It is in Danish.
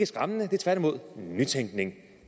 skræmmende men tværtimod nytænkning